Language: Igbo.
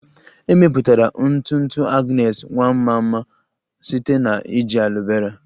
E mepụtara ntụ ntụ Agnes Nwanma a ma ama site na iji aloe vera